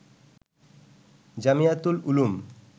Jamiatul Uloom